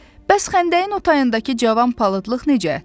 Bəs xəndəyin o tayındakı cavan palıdlıq necə?